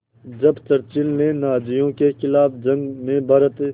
जब चर्चिल ने नाज़ियों के ख़िलाफ़ जंग में भारत